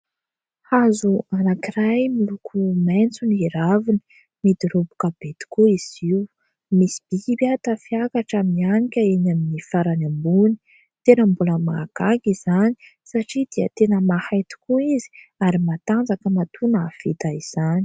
Hazo anankiray miloko maitso ny raviny ; midoroboka be tokoa izy io. Misy biby tafiakatra, mianika eny amin'ny farany ambony. Tena mbola mahagaga izany, satria dia tena mahay tokoa izy ary matanjaka, matoa nahavita izany.